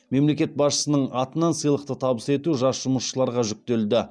мемлекет басшысының атынан сыйлықты табыс ету жас жұмысшыларға жүктелді